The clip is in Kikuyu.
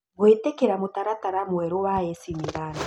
Gũĩtĩkĩra mũtaratara mwerũ wa AC Milan